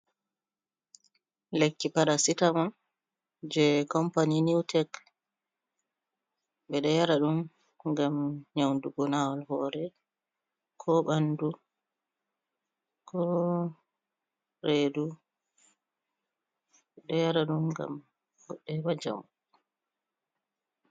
Lekki parasitamon je company new tek, ɓe ɗo yara ɗum ngam nyaudugo nawal hore ko ɓandu ko redu, ɓeɗo yara ɗum ngam goɗɗo heba njamu.